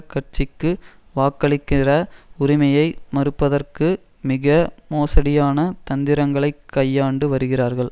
கட்சிக்கு வாக்களிக்கிற உரிமையை மறுப்பதற்கு மிக மோசடியான தந்திரங்களைக் கையாண்டு வருகிறார்கள்